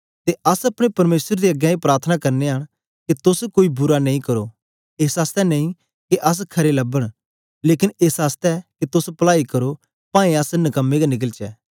ते अस अपने परमेसर दे अगें ए प्रार्थना करनयां के तोस कोई बुरा नेई करो एस आसतै नेई के अस खरे लबो लेकन एस आसतै के तोस पलाई करो पावें अस नकमे गै निकलचै